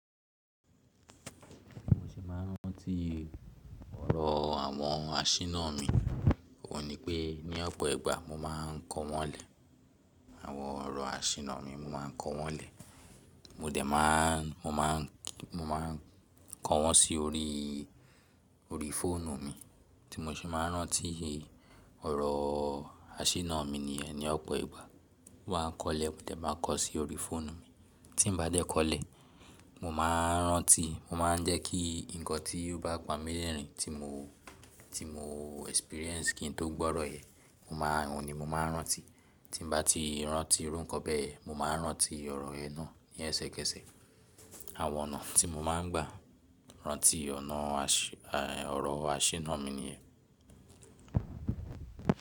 Mo ṣì máa ń rántí ọ̀rọ̀ àwọn àṣìná mi, òun ni pé ní ọ̀pọ̀ ìgbà mo máa ń kọ wọ́n lẹ̀. Àwọn ọ̀rọ̀ àṣìná mi mo máa ń kọ wọ́n lẹ̀. Mo dẹ̀ máa ń, mo máa ń, mo maa n kọ wọ́n sí orí, orí fóònù mi tí mo ṣe máa ń rántí ọ̀rọ̀ àṣìná mi niyẹ́n ní ọ̀pọ̀ ìgbà. Mo maa n á kọlẹ̀, mo dẹ̀ maa n kọ sí orí fóònù mi. Tí n bá de koọ́lẹ̀, mo máa ń rántí, mo máa ń jẹ́ kí nǹkan tí ó bá pamilẹ̀rìn tí mo, tí mo experience kí n tó gbọ́rọ̀ yẹn, mo máa ń, òun ni mo máa ń rántí. Tí n bá ti rántí irú nǹkan bẹ́ẹ̀, mo máa ń rántí ọ̀rọ̀ yen náà ní ẹsẹkẹsẹ. Àwọn ọ̀nà tí mo máa ń gbà rántí ọ̀nà àṣì, ọ̀rọ̀ àṣìná mi ni yẹ́n.